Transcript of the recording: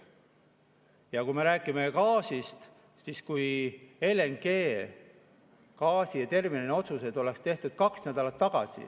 Ja kui me räägime gaasist, siis LNG‑terminali otsused kaks nädalat tagasi.